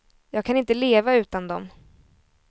Jag kan inte leva utan dem.